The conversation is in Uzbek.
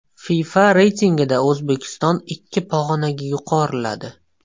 FIFA reytingida O‘zbekiston ikki pog‘onaga yuqoriladi.